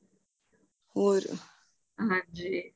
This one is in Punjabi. ਹੋਰ ਹਾਂਜੀ